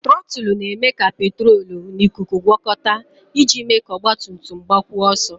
Trọtụlụ na-eme ka petrolu na ikuku gwọkọta iji mee ka ọgbatumtum gbakwuo ọsọ.